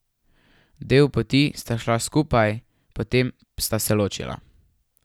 Del poti sta šla skupaj, potem sta se ločila.